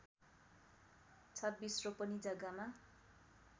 २६ रोपनि जग्गामा